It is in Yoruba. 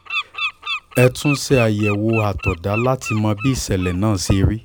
ẹ tún ṣe àyẹ̀wò àtọ̀dá láti mọ bí ìṣẹ́lẹ̀ náà ṣe rí